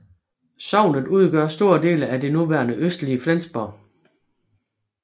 Sognet udgør store dele af det nuværende østlige Flensborg